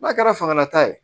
N'a kɛra fangala ta ye